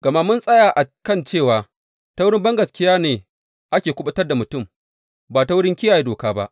Gama mun tsaya a kan cewa ta wurin bangaskiya ne ake kuɓutar da mutum, ba ta wurin kiyaye doka ba.